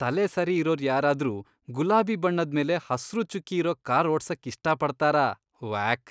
ತಲೆ ಸರಿ ಇರೋರ್ ಯಾರಾದ್ರೂ ಗುಲಾಬಿ ಬಣ್ಣದ್ಮೇಲೆ ಹಸ್ರು ಚುಕ್ಕಿ ಇರೋ ಕಾರ್ ಓಡ್ಸಕ್ ಇಷ್ಟಪಡ್ತಾರಾ? ವ್ಯಾಕ್!